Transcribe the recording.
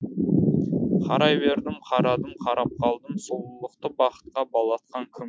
қарай бердім қарадым қарап қалдым сұлулықты бақытқа балатқан кім